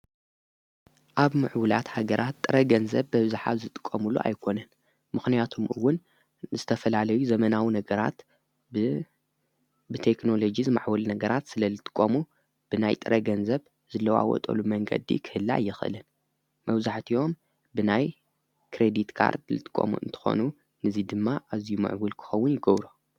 ኣብ ምዕብላት ኣገራት ጥረ ገንዘብ በብዝኃ ዝጥቆምሉ ኣይኮነን ምኽንያቱምኡውን ዝተፈላለዩ ዘመናዊ ነገራት ብተክኖሎጊ ዝማዕወሊ ነገራት ስለ ልጥቆሙ ብናይ ጥረ ገንዘብ ዝለዋወጠሉ መንገዲ ክህላ ይኽእልን መውዙሕት እዮም ብናይ ክሬዲትቃርድ ልጥቆሙ እንተኾኑ ንዙይ ድማ እዚይ ምዕቡል ክኸውን ይገብሮ።